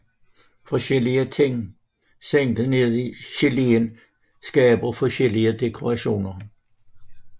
Forskellige ting sænket ned i geléen skaber forskellige dekorationer